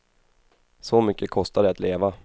Så mycket kostar det att leva.